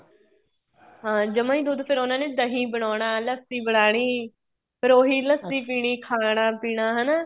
ਹਾਂ ਜਮਾਂ ਹੀ ਦੁੱਧ ਉਹਨਾ ਨੇ ਫ਼ੇਰ ਦਹੀਂ ਬਣਾਉਣਾ ਲੱਸੀ ਬਣਾਉਣੀ ਫ਼ੇਰ ਉਹੀ ਲੱਸੀ ਪੀਣੀ ਖਾਣਾ ਪੀਣਾ ਹਨਾ